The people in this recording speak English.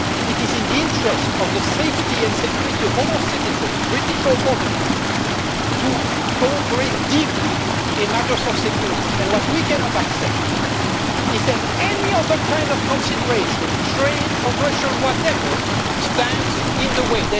It is in the interest of the safety and security of all our citizens, British or otherwise, to cooperate deeply in matters of security, and what we cannot accept is that any other kind of consideration trade, commercial, whatever stands in the way.